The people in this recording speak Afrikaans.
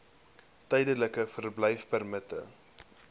tydelike verblyfpermitte